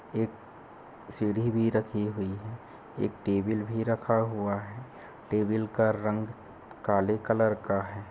एक सीढ़ी भी रखी हुई है एक टेबल भी रखा हुआ है टेबल का रंग काले कलर का है।